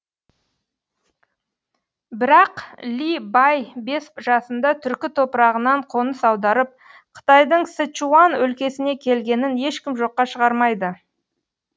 бірақ ли бай бес жасында түркі топырағынан қоныс аударып қытайдың сычуан өлкесіне келгенін ешкім жоққа шығармайды